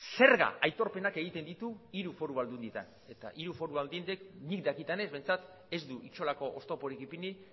zerga aitorpenak egiten ditu hiru foru aldundietan eta hiru foru aldundiek nik dakidanez behintzat ez du inolako oztoporik ipini